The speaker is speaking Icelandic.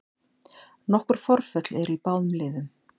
Nokkur forföll eru í báðum liðum